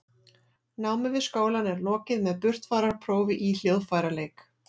námi við skólann er lokið með burtfararprófi í hljóðfæraleik